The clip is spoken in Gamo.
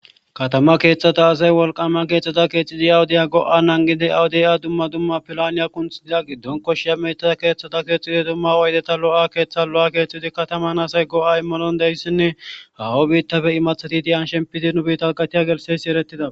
Katama keeththata azay wolqama keexthata keexidi awudiya go'a nangidi awudiy a dumma dumma pilaniya qunthidiza giddon koshi ameta keeththata keexxidi dumma waydeta lo'a keeththa lo'a keetxidi kataman asay go'a immalon deyssinne hawo biittafe imathati diyan shempidi nu biita hqatiya gelseysi erettida.